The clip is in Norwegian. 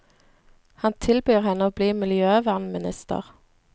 Han tilbyr henne å bli miljøvernminister.